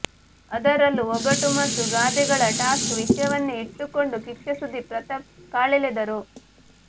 ಅದರಲ್ಲೂ ಒಗಟು ಮತ್ತು ಗಾದೆಗಳ ಟಾಸ್ಕ್ ವಿಷ್ಯವನ್ನೇ ಇಟ್ಟುಕೊಂಡು ಕಿಚ್ಚ ಸುದೀಪ್ ಪ್ರತಾಪ್ ಕಾಲೆಳೆದರು